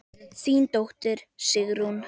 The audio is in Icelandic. Þín dóttir, Sigrún.